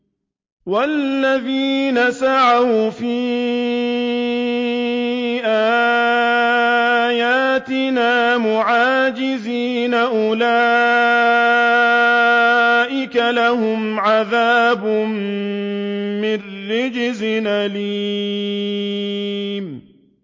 وَالَّذِينَ سَعَوْا فِي آيَاتِنَا مُعَاجِزِينَ أُولَٰئِكَ لَهُمْ عَذَابٌ مِّن رِّجْزٍ أَلِيمٌ